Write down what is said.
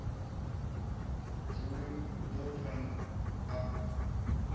dzuli u ḓo pfa a